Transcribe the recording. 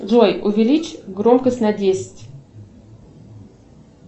джой увеличь громкость на десять